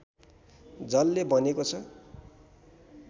जलले बनेको छ